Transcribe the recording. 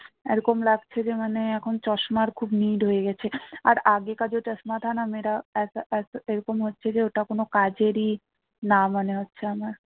এরকম লাগছে যে মানে চশমার খুব need হয়ে গেছে আর এরকম হচ্ছে যে ওটা কোনো কাজেরই না মনে হচ্ছে আমার